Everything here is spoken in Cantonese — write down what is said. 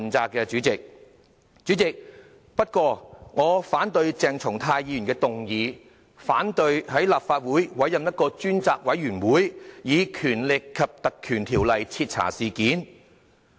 代理主席，不過，我反對鄭松泰議員的議案，反對在立法會委任專責委員會，以《立法會條例》徹查事件。